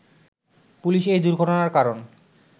police এই দুর্ঘটনার কারণ